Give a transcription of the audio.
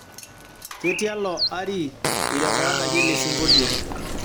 ketialo ari eirekoodaki elesingolio